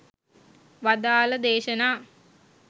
වදාළ දේශනා